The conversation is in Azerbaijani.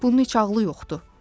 Bunun heç ağlı yoxdur."